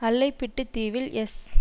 அல்லைப்பிட்டி தீவில் எஸ்